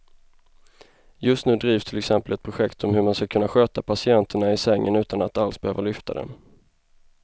Just nu drivs till exempel ett projekt om hur man ska kunna sköta patienterna i sängen utan att alls behöva lyfta dem.